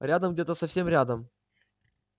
рядом где-то совсем рядом